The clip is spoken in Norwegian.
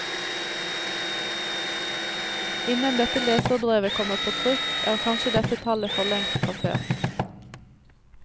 Innen dette leserbrevet kommer på trykk, er kanskje dette tallet forlengst passert.